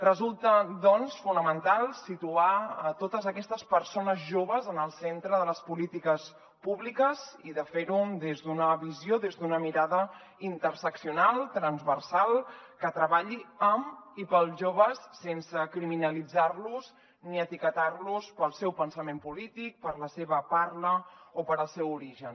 resulta doncs fonamental situar totes aquestes persones joves en el centre de les polítiques públiques i fer·ho des d’una visió des d’una mirada interseccional trans·versal que treballi amb i pels joves sense criminalitzar·los ni etiquetar·los pel seu pensament polític per la seva parla o pel seu origen